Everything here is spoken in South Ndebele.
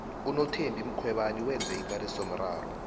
unothembi mkhwebana wenze ikarisomraro